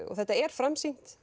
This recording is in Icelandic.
þetta er framsýnt